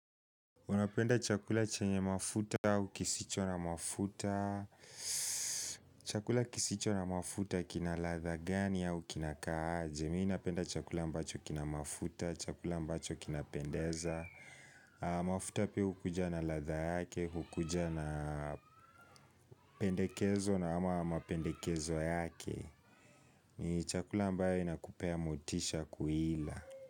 Unapenda chakula chenye mafuta au kisicho na mafuta. Chakula kisicho na mafuta kina latha gani au kinakaaje. Mi napenda chakula ambacho kina mafuta, chakula ambacho kina pendeza. Mafuta pia hukuja na latha yake, hukuja na pendekezo na ama pendekezo yake ni chakula ambayo inakupea motisha kuila.